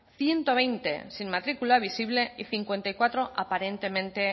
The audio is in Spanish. ciento veinte sin matrícula visible y cincuenta y cuatro aparentemente